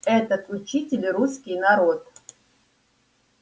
этот учитель русский народ